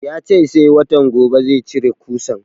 Ya ce sai watan gobe zai cire ƙusan